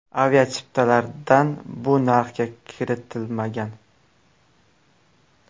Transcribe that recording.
Avia chiptalardan bu narxga kiritilmagan.